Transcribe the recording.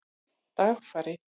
Dagfari